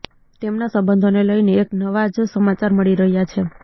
તેમનાં સંબંધોને લઈને એક નવા જ સમાચાર મળી રહ્યા છે